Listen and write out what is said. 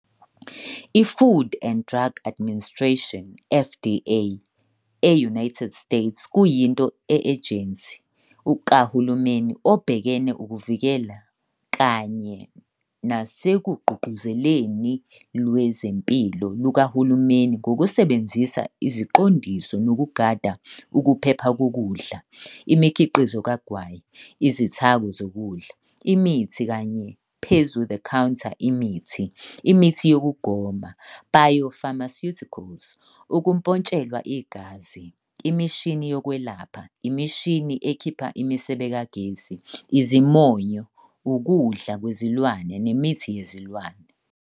I -Food and Drug Administration, FDA, e-United States kuyinto ejensi kahulumeni obhekene ukuvikela kanye nasekugqugquzeleni lwezempilo lukahulumeni ngokusebenzisa isiqondiso nokugada ukuphepha kokudla, imikhiqizo kagwayi, Izithako zokudla, imithi kanye phezu-the-counter imithi, imithi yokugoma, biopharmaceuticals, ukumpontshelwa igazi, imishini yokwelapha, imishini ekhipha imisebe kagesi, izimonyo, ukudla kwezilwane nemithi yezilwane.